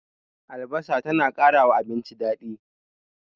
Albasa ta na ƙarawa abinci daɗi